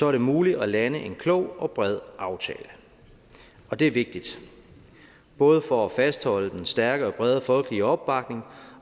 er det muligt at lande en klog og bred aftale det er vigtigt både for at fastholde den stærke og brede folkelige opbakning